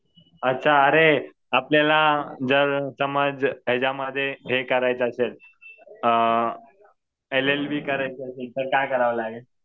अच्छा. अरे आपल्याला जर समज याच्यामध्ये हे करायचं असेल एल एल बी करायचं असेल तर काय करावं लागेल?